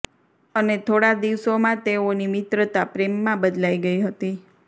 અને થોડા દિવસોમાં તેઓની મિત્રતા પ્રેમમાં બદલાઇ ગઇ હતી